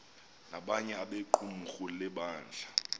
nabanye abequmrhu lebandla